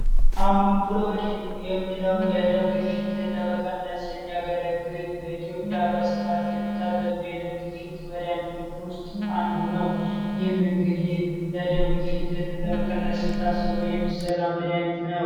አምንቡሎወዲ የሚለው የደም ግፊትን ለመቀነስ የሚያገለግል በኢትዮጵያ በስፋት ከሚታዘዙ የደም ግፊት መዳያኒቶች ውስጥ አንዱ ነው ይህም እንግዲህ ለደም ግፊትን ለመቀነስ ንታስብ የሚሰራ መዳያኒት ነው፡፡